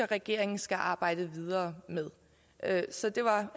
regeringen skal arbejde videre med så det var